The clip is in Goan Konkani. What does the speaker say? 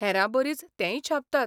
हेरांबरीच तेंय छापतात.